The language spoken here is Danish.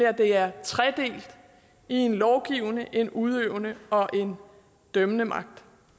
at det er tredelt i en lovgivende en udøvende og en dømmende magt